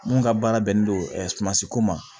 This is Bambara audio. Mun ka baara bɛnnen don sumansi ko ma